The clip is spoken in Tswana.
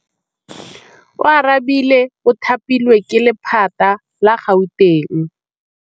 Oarabile o thapilwe ke lephata la Gauteng.